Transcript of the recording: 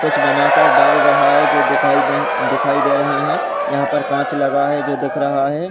कुछ बनाकर डाल रहा है जो दिखाई नहीं दिखाई दे रहे हैं। यहां पर कांच लगा है।